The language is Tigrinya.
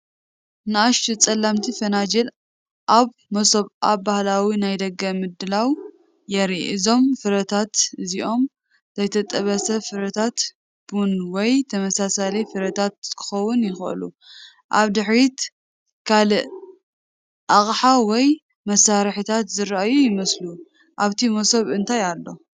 ንኣሽቱ ጸለምቲ ፋጁል ኣብ መሶብ ኣብ ባህላዊ ናይ ደገ ምድላው የርኢ። እዞም ፍረታት እዚኦም ዘይተጠበሰ ፍረታት ቡን ወይ ተመሳሳሊ ፍረታት ክኾኑ ይኽእሉ። ኣብ ድሕሪት ካልእ ኣቕሓ ወይ መሳርሒታት ዝረኣዩ ይመስሉ። ኣብቲ መሶብ እንታይ ኣሎ?